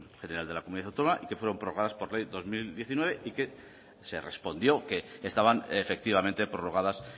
general de la comunidad autónoma y que fueron prorrogadas por ley dos mil diecinueve y que se respondió que estaban efectivamente prorrogadas